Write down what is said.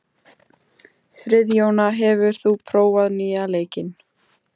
Friðjóna, hefur þú prófað nýja leikinn?